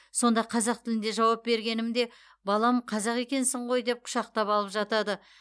сонда қазақ тілінде жауап бергенімде балам қазақ екенсің ғой деп құшақтап алып жатады